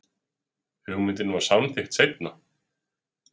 Hugmyndin var samþykkt seinna.